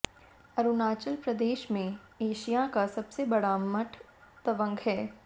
अरुणाचल प्रदेश में एशिया का सबसे बड़ा मठ तवंग है